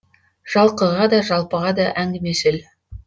жалқыға да жалпыға да әңгімешіл